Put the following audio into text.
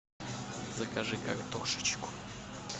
закажи картошечку